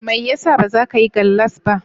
Mai yasa bazakayi gallas ba?